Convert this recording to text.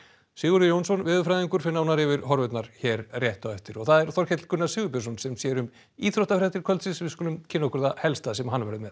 Sigurður Jónsson veðurfræðingur fer nánar yfir horfurnar hér rétt á eftir og það er Þorkell Gunnar Sigurbjörnsson sem sér um íþróttafréttir kvöldsins við skulum kynna okkur það helsta sem hann verður með